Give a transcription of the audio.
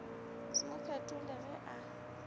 se mo fetole ge a